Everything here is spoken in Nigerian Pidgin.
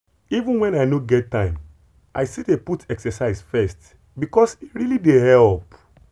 even when i no get time i dey still put exercise first because e really dey help.